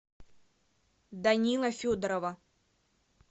данила федорова